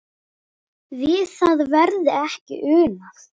Við það verði ekki unað.